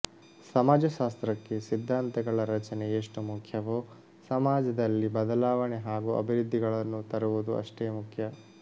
ಸಮಾಜಶಾಸ್ತ್ರಕ್ಕೆ ಸಿದ್ಧಾಂತಗಳ ರಚನೆ ಎಷ್ಟು ಮುಖ್ಯವೋ ಸಮಾಜದಲ್ಲಿ ಬದಲಾವಣೆ ಹಾಗೂ ಅಭಿವೃದ್ಧಿಗಳನ್ನು ತರುವುದೂ ಅಷ್ಟೇ ಮುಖ್ಯ